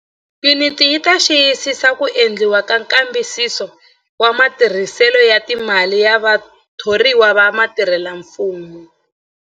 Yuniti yi ta xiyisisa ku endliwa ka nkambisiso wa matirhiselo ya timali ya vathoriwa va vatirhelamfumo.